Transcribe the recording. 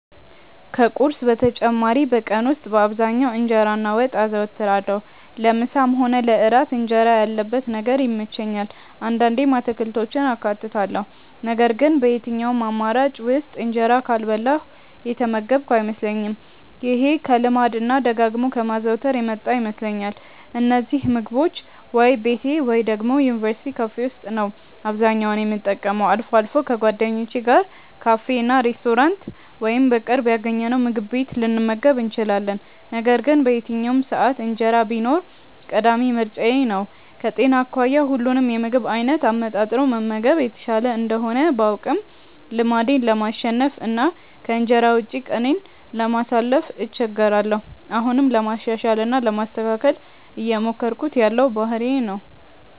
ከቁርስ በተጨማሪ በቀን ውስጥ በአብዛኛው እንጀራ እና ወጥ አዘወትራለሁ። ለምሳም ሆነ ለእራት እንጀራ ያለበት ነገር ይመቸኛል። አንዳንዴም አትክልቶችን አካትታለሁ ነገር ግን በየትኛውም አማራጭ ውስጥ እንጀራ ካልበላሁ የተመገብኩ አይመስለኝም። ይሄ ከልማድ እና ደጋግሞ ከማዘውተር የመጣ ይመስለኛል። እነዚህን ምግቦች ወይ ቤቴ ወይ ደግሞ የዩኒቨርስቲ ካፌ ነው አብዛኛውን የምጠቀመው። አልፎ አልፎ ከጓደኞቼ ጋር ካፌ፣ ሬስቶራንት ወይም በቅርብ ያገኘነውምግብ ቤት ልንመገብ እንችላለን። ነገር ግን በየትኛውም ሰዓት እንጀራ ቢኖር ቀዳሚ ምርጫዬ ነው። ከጤና አኳያ ሁሉንም የምግብ አይነት አመጣጥኖ መመገብ የተሻለ እንደሆነ ባውቅም ልማዴን ለማሸነፍ እና ከእንጀራ ውጪ ቀኔን ለማሳለፍ እቸገራለሁ። አሁንም ለማሻሻል እና ለማስተካከል እየሞከርኩት ያለው ባህሪዬ ነው።